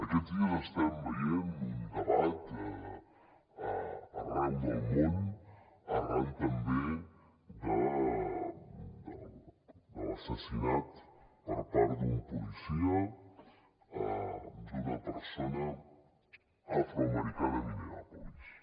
aquests dies estem veient un debat arreu del món arran també de l’assassinat per part d’un policia d’una persona afroamericana a minneapolis